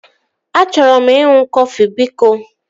Achọrọ m ịṅụ kọfị biko